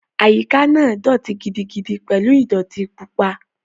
Àyíká náà dọ̀ọ̀tí gidigidi pẹ̀lú ìdọ̀ọ̀tí pupa